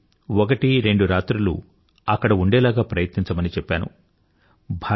వీలైతే ఒకటి రెందు రాత్రులు ఉండేలాగ ప్రయత్నించమని చెప్పాను